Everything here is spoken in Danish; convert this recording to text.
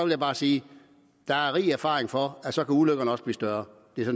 jeg bare sige at der er rig erfaring for at så kan ulykkerne også blive større